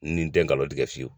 Nin tɛ nkalon tigɛ fiyewu